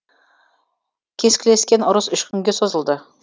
кескілескен ұрыс үш күнге созылды